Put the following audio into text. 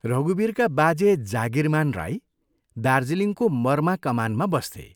रघुवीरका बाजे जागीरमां राई दार्जीलिङको मर्मा कमानमा बस्थे।